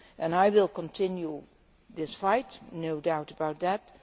I will continue this fight, no doubt about that.